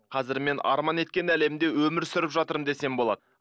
қазір мен арман еткен әлемде өмір сүріп жатырмын десем болады